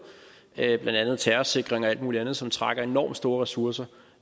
blandt andet terrorsikring og alt muligt andet som trækker enormt store ressourcer